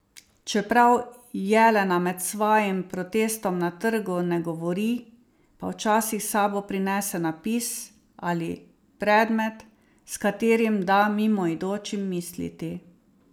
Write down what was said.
Čeprav Jelena med svojim protestom na trgu ne govori, pa včasih s sabo prinese napis ali predmet, s katerim da mimoidočim misliti.